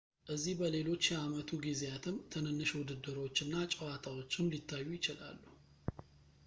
እዚህ በሌሎች የአመቱ ጊዜያትም ትንንሽ ውድድሮች እና ጨዋታዎችም ሊታዩ ይችላሉ